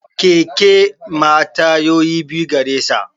Keke ma tayoyi biyu garesa